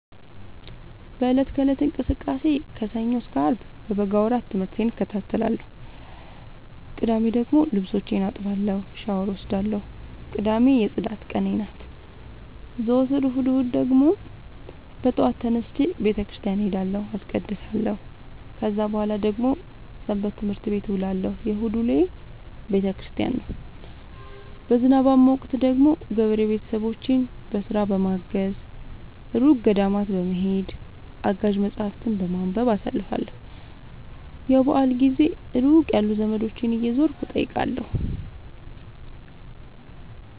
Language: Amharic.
በእለት ከእለት እንቅስቃሴዬ ከሰኞ እስከ አርብ በበጋ ወራት ትምህርቴን እከታተላለሁ። ቅዳሜ ደግሞ ልብሶቼን አጥባለሁ ሻውር እወስዳለሁ ቅዳሜ የፅዳት ቀኔ ናት። ዘወትር እሁድ እሁድ ደግሞ በጠዋት ተነስቼ በተክርስቲያን እሄዳለሁ አስቀድሳሁ። ከዛ በኃላ ደግሞ ሰበትምህርት ቤት እውላለሁ የእሁድ ውሎዬ ቤተክርስቲያን ነው። በዝናባማ ወቅት ደግሞ ገበሬ ቤተሰቦቼን በስራ በማገ፤ እሩቅ ገዳማት በመሄድ፤ አጋዥ መፀሀፍትን በማንበብ አሳልፍለሁ። የበአል ጊዜ ሩቅ ያሉ ዘመዶቼን እየዞርኩ እጠይቃለሁ።